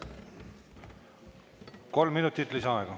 Kolm minutit lisaaega.